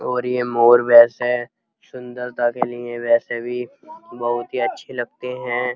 और ये मोर वैसे सुन्दरता के लिए वैसे भी बोहोत ही अच्छे लगते हैं।